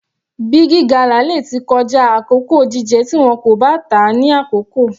Big gala lè tí kọjá àkókò jíjẹ tí wọn kò bá tà á ní àkókò.